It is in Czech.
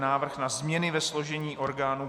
Návrh na změny ve složení orgánů